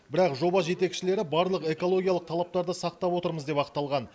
бірақ жоба жетекшілері барлық экологиялық талаптарды сақтап отырмыз деп ақталған